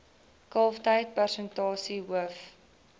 kalftyd persentasie hoof